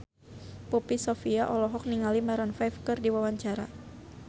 Poppy Sovia olohok ningali Maroon 5 keur diwawancara